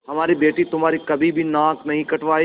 हमारी बेटी तुम्हारी कभी भी नाक नहीं कटायेगी